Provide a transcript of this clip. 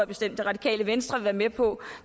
bestemt det radikale venstre vil være med på